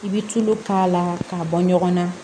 I bɛ tulo k'a la k'a bɔ ɲɔgɔn na